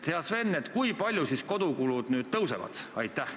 Hea Sven, kui palju siis kodukulud nüüd tõusevad?